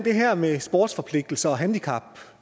her med sportsforpligtelser